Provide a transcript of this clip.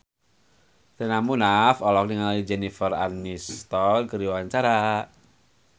Sherina Munaf olohok ningali Jennifer Aniston keur diwawancara